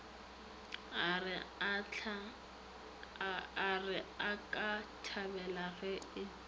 a re akathabela ge e